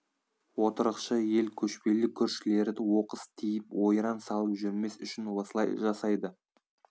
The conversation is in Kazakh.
отырықшы ел көшпелі көршілері оқыс тиіп ойран салып жүрмес үшін осылай жасайды